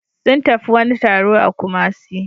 Sun tafi wani taro a Kumasi